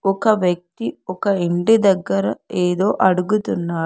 ఒక వ్యక్తి ఒక ఇంటి దగ్గర ఏదో అడుగుతున్నాడు.